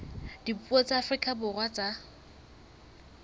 dipuo tsa afrika borwa tsa